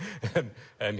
en